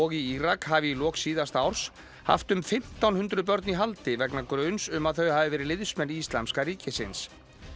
í Írak hafi í lok síðasta árs haft um fimmtán hundruð börn í haldi vegna gruns um að þau hafi verið liðsmenn Íslamska ríkisins